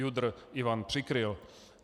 JUDr. Ivan Přikryl."